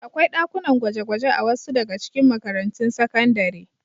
Akwai ɗakunan gwaje-gwaje a wasu daga cikin makarantun sakandare.